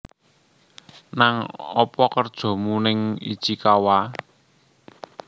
Nang opo kerjomu ning Ichikawa?